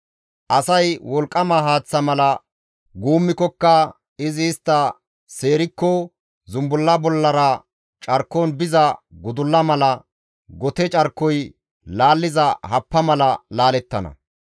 Asay wolqqama haaththa mala guummikkoka, izi istta seerikko zumbulla bollara carkon biza gudulla mala gote carkoy laalliza happa mala laalettana.